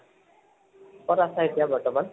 কত আছা এতিয়া বৰ্তমান?